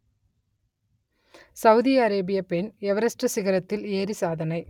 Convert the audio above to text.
Saudi அரேபியப் பெண் Everest சிகரத்தில் ஏறி சாதனை